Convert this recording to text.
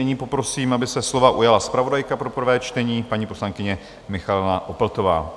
Nyní poprosím, aby se slova ujala zpravodajka pro prvé čtení, paní poslankyně Michaela Opltová.